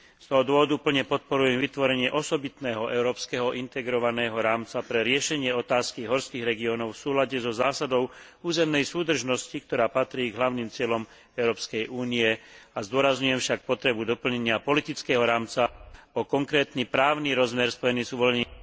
Z tohto dôvodu plne podporujem vytvorenie osobitného európskeho integrovaného rámca pre riešenie otázky horských regiónov v súlade so zásadou územnej súdržnosti, ktorá patrí k hlavným cieľom Európskej únie, a zdôrazňujem však potrebu doplnenia politického rámca o konkrétny právny rozmer spojený s uvoľnením...